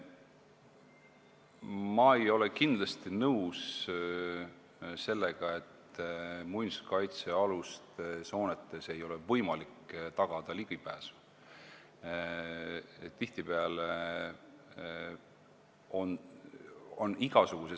Ma ei ole kindlasti nõus sellega, et muinsuskaitsealustele hoonetele ei ole võimalik tagada ligipääsu.